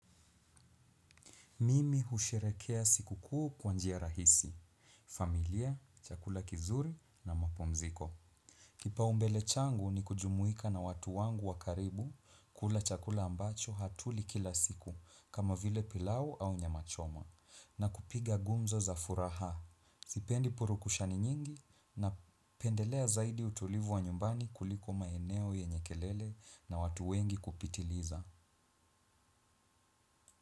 Mimi husherekea siku kuu kwa njia rahisi, familia, chakula kizuri na mapumziko. Kipao mbele changu ni kujumuhika na watu wangu wakaribu kula chakula ambacho hatulii kila siku kama vile pilau au nyama choma na kupiga gumzo za furaha. Zipendi purukushani nyingi na pendelea zaidi utulivu wa nyumbani kuliko maeneo yenye kelele na watu wengi kupitiliza.